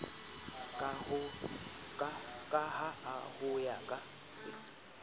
ka ha ho ya ka